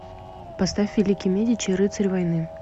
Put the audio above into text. поставь великий медичи рыцарь войны